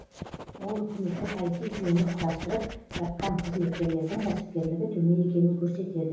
ол үкіметтік іт жүйені құрастырып жатқан қызметкерлердің кәсіпкерлігі төмен екенін көрсетеді